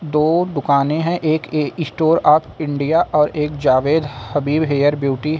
दो दुकानें हैं एक ए स्टोर अप इंडिया और एक जावेद हबीब हेयर ब्यूटी है।